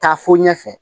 Taa fo ɲɛfɛ